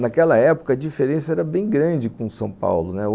Naquela época, a diferença era bem grande com São Paulo, né.